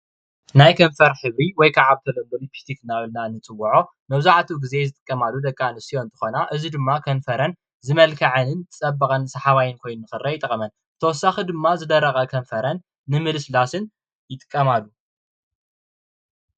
ናይ ከንፈር ሕብሪ ወይ ከዓ ሊፒስቲክ እናበልና እንፅውዖ እንትኸውን መብዛሕቲኢ ግዜ ዝጥቀማሉ ደቂ ኣንስትዮ እንትኾና እዚ ድማ ከንፈርን ዝመልከዐን ዝፀበቀንን ሰሓባይን ኮይኑ ንክረአ ይጠቅመን ብተወሳኪ ድማ ዝደረቀ ከንፈረን ንምልስላስን ይጥቀማሉ።